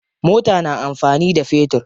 Mota na amfani da fetur.